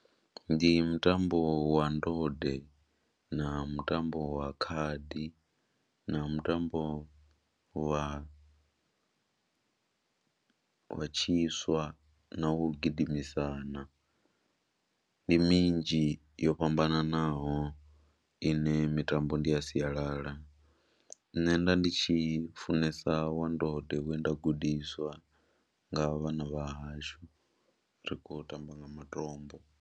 Ndi mutambo wa ndode na mutambo wa khadi na mutambo wa wa tshiswa na wo gidimisana, ndi minzhi yo fhambananaho ine mitambo ndi a sialala, nṋe nda ndi tshi funesa wa ndode we nda gudiswa nga vhana vha hashu ri khou tamba nga matombo.